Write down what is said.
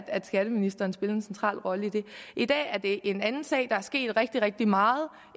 at skatteministeren spillede en central rolle i det i dag er det en anden sag der er sket rigtig rigtig meget